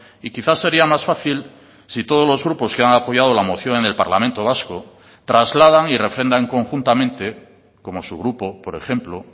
y quizás sería más fácil si todos los grupos que han apoyado la moción en el parlamento vasco trasladan y refrendan conjuntamente como su grupo por ejemplo